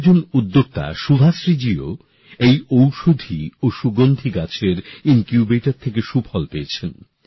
আর একজন উদ্যোক্তা শুভাশ্রীজীও এই ঔষধি ও সুগন্ধি গাছের ইনকিউবেটর থেকে সুফল পেয়েছেন